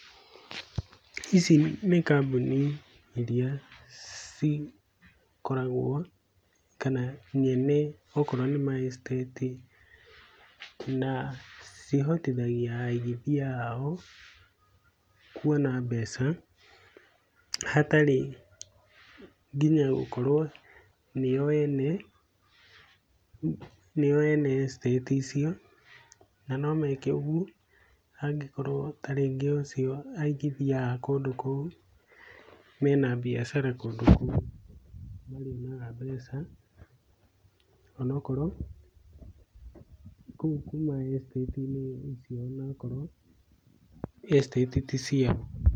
Ici nĩ kambuni iria cikoragwo kana nyene okorwo nĩ ma estate, na cihotithagia aigithia ao kuona mbeca hatarĩ nginya gũkorwo nĩo ene estate icio, na no meke ũguo angĩkorwo ta rĩngĩ ũcio aigithia a kũndũ kou mena biacara kũndũ kũu nĩ marĩonaga mbeca o na korwo kou ma estate inĩ icio o na okorwo estate ti ciao.